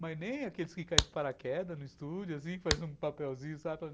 Mas nem aqueles que caem de paraquedas no estúdio, que fazem um papelzinho, sabe?